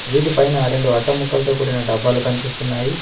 వీటి పైన రెండు అట్ట ముక్కలతో కూడిన డబ్బాలు కనిపిస్తున్నాయి.